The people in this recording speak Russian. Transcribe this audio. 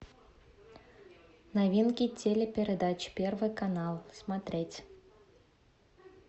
новинки телепередач первый канал смотреть